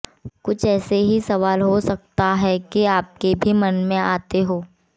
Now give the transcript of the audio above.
कुछ ऐसे ही सवाल हो सकता है कि आपके भी मन में आते हों